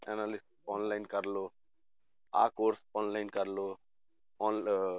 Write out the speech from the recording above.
ਨਾਲੇ online ਕਰ ਲਓ ਆਹ course online ਕਰ ਲਓ ਆਨਲ~ ਅਹ